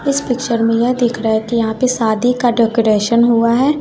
इस पिक्चर में यह दिख रहा कि यहां पे शादी का डेकोरेशन हुआ हैं।